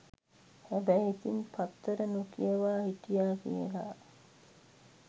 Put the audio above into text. හැබැයි ඉතින් පත්තර නොකියවා හිටියා කියලා